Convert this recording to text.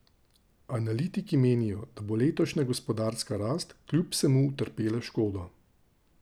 Analitiki menijo, da bo letošnja gospodarska rast kljub vsemu utrpela škodo.